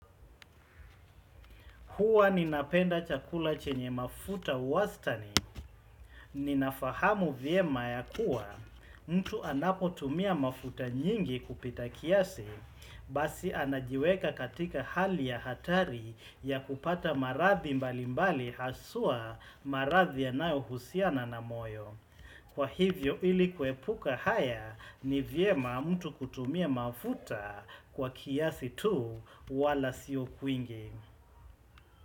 Huwa ninapenda chakula chenye mafuta wastani, ninafahamu vyema ya kuwa, mtu anapotumia mafuta nyingi kupita kiasi, basi anajiweka katika hali ya hatari ya kupata marathi mbali mbali haswaa marathi yanayohusiana na moyo. Kwa hivyo ili kuwepuka haya ni vyema mtu kutumia mafuta kwa kiasi tu wala sio kwingi.